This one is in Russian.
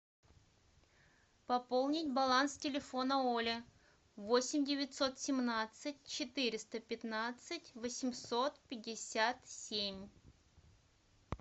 пополнить баланс телефона оля восемь девятьсот семнадцать четыреста пятнадцать восемьсот пятьдесят семь